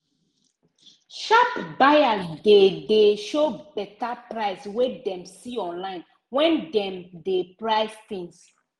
sharp buyers dey dey show better price wey dem see online when dem dey price things.